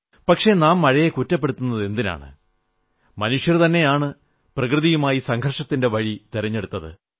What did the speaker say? പക്ഷേ നാം മഴയെ കുറ്റപ്പെടുത്തുന്നതെന്തിനാണ് മനുഷ്യൻ തന്നെയാണ് പ്രകൃതിയുമായി സംഘർഷത്തിന്റെ വഴി തിരഞ്ഞെടുത്തത്